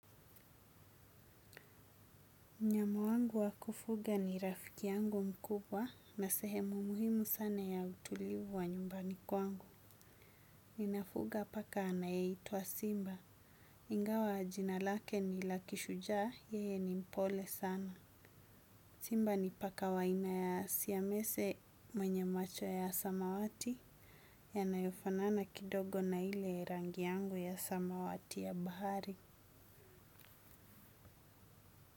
Mnyama wangu wa kufuga ni rafiki yangu mkubwa na sehemu muhimu sana ya utulivu wa nyumbani kwangu. Ninafuga paka anayeitwa Simba. Ingawa jina lake ni la kishujaa, yeye ni mpole sana. Simba ni paka wa aina ya siyamese mwenye macho ya samawati yanayofanana kidogo na ile rangi yangu ya samawati ya bahari.